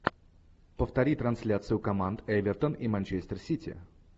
повтори трансляцию команд эвертон и манчестер сити